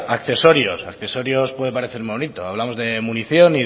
accesorios accesorios puede parecer bonito hablamos de munición